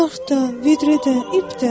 Çarx da, vidrə də, ip də.